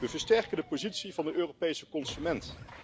We versterken de positie van de Europese consument.